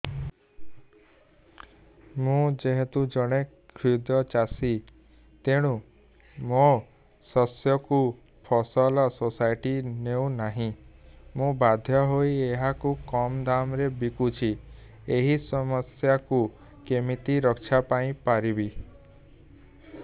ମୁଁ ଯେହେତୁ ଜଣେ କ୍ଷୁଦ୍ର ଚାଷୀ ତେଣୁ ମୋ ଶସ୍ୟକୁ ଫସଲ ସୋସାଇଟି ନେଉ ନାହିଁ ମୁ ବାଧ୍ୟ ହୋଇ ଏହାକୁ କମ୍ ଦାମ୍ ରେ ବିକୁଛି ଏହି ସମସ୍ୟାରୁ କେମିତି ରକ୍ଷାପାଇ ପାରିବି